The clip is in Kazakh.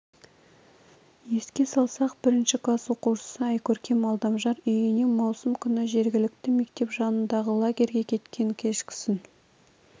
еске салсақ бірінші класс оқушысы айкөркем алдамжар үйінен маусым күні жергілікті мектеп жанындағы лагерге кеткен кешкісін